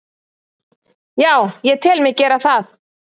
Já, ég tel mig gera það.